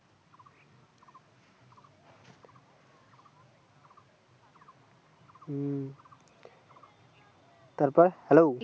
হুম তারপর hello